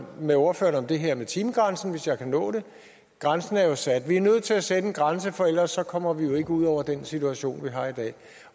med ordføreren om det her med timegrænsen hvis jeg kan nå det grænsen er jo sat vi er nødt til at sætte en grænse for ellers kommer vi jo ikke ud over den situation vi har i dag